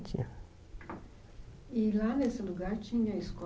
Tinha E lá nesse lugar tinha escola?